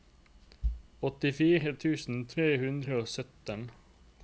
åttifire tusen tre hundre og sytten